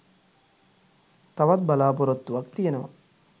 තවත් බලාපොරොත්තුවක් තියෙනවා